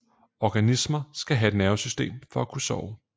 Organismer skal have et nervesystem for at kunne sove